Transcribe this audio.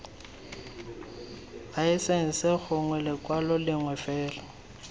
laesense gongwe lekwalo lengwe fela